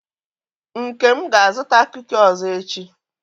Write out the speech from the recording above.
Nkem ga-azụta kuki ọzọ echi.